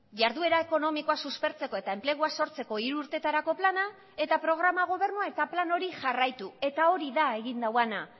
jarduera ekonomikoa suspertzeko eta enplegua sortzeko hiru urtetarako plana eta programa gobernua eta plan hori jarraitu eta hori da egin duena